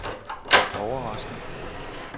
overrasket